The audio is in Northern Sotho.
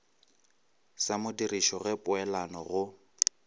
sa modirišo ge peelano go